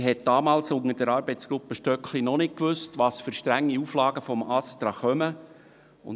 Man hat damals unter der Arbeitsgruppe Stöckli noch nicht gewusst, welche strengen Auflagen das ASTRA macht.